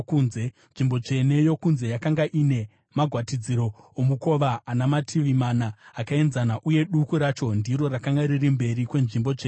Nzvimbo tsvene yokunze yakanga ine magwatidziro omukova ana mativi mana akaenzana, uye duku racho ndiro rakanga riri mberi kweNzvimbo Tsvene-tsvene.